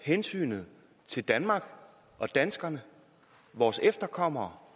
hensynet til danmark og danskerne og vores efterkommere